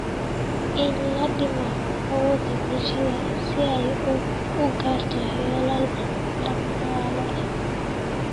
In la dhimo awoodda bulshada si ay u gaarto yoolal dhaqaale.